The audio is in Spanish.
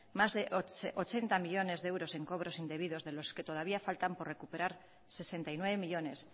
más de ochenta millónes de euros en cobros indebidos de los que todavía faltan por recuperar sesenta y nueve millónes